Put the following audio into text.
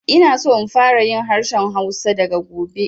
Ina so in fara yin harshen Hausa daga gobe